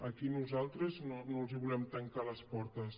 aquí nosaltres no els volem tancar les portes